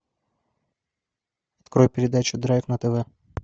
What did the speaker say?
открой передачу драйв на тв